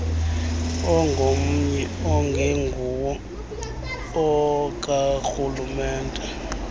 ongomnye ongenguwo okarhulumente